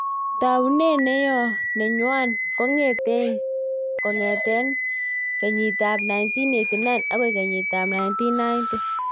Taunet neyo nenywo kong'etegei kengit ab 1989 agoi kenyit ab 1990